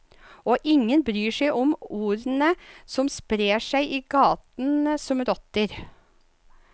Og ingen bryr seg om ordene som sprer seg i gatene som rotter.